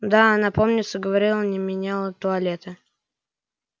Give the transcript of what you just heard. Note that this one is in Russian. да она помнится говорили не меняла туалета